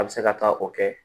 A bɛ se ka taa o kɛ